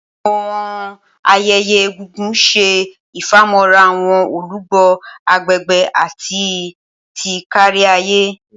Awọn ayẹyẹ egungun ṣe ifamọra awọn olugbo agbegbe ati ti kariaye.